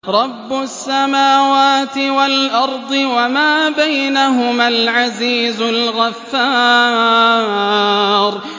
رَبُّ السَّمَاوَاتِ وَالْأَرْضِ وَمَا بَيْنَهُمَا الْعَزِيزُ الْغَفَّارُ